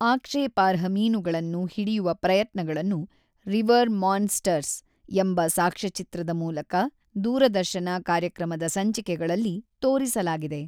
ಆಕ್ಷೇಪಾರ್ಹ ಮೀನುಗಳನ್ನು ಹಿಡಿಯುವ ಪ್ರಯತ್ನಗಳನ್ನು ರಿವರ್ ಮಾನ್ಸ್ಟರ್ಸ್ ಎಂಬ ಸಾಕ್ಷ್ಯಚಿತ್ರದ ಮೂಲಕ ದೂರದರ್ಶನ ಕಾರ್ಯಕ್ರಮದ ಸಂಚಿಕೆಗಳಲ್ಲಿ ತೋರಿಸಲಾಗಿದೆ.